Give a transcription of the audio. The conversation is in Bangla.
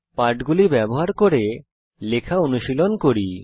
পাঠগুলি ব্যবহার করে লেখা অনুশীলন করি